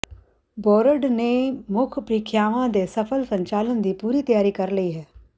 board ਨੇ ਮੁੱਖ ਪ੍ਰੀਖਿਆਵਾਂ ਦੇ ਸਫ਼ਲ ਸੰਚਾਲਨ ਦੀ ਪੂਰੀ ਤਿਆਰੀ ਕਰ ਲਈ ਹੈ